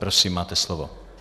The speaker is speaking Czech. Prosím, máte slovo.